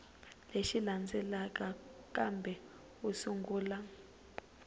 lexi landzelaka kambe u sungula